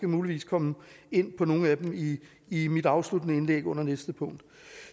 muligvis komme ind på nogle af dem i i mit afsluttende indlæg under det næste punkt